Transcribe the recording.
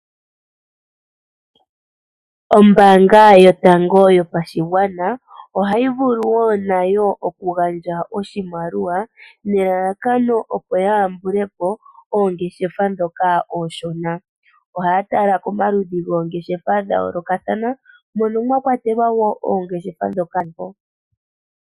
Ombaanga yotango yopashigwana ohayi vulu wo nayo okugandja oshimaliwa, nelalakano opo ya yambule po oongeshefa ndhoka oonshona. Ohaya tala komaludhi goongeshefa dha yoolokathana.